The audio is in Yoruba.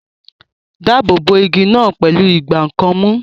Dáàbò bo igi náà pẹ̀lú ìgbá nǹkan mú